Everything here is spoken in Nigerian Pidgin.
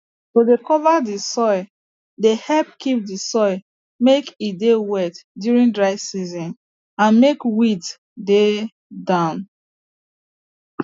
to dey cover the soil dey help keep the soil make e dey wet during dry season and make weeds dey down